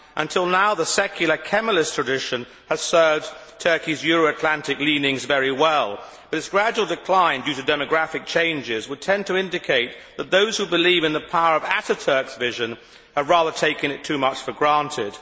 Until now, the secular Kemalist tradition has served Turkey's Euro Atlantic leanings very well, but its gradual decline due to demographic changes would tend to indicate that those who believe in the power of Ataturk's vision have rather taken it too much for granted.